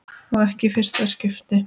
Og ekki í fyrsta skipti.